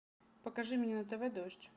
покажи мне на тв дождь